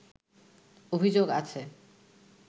অভিযোগ আছে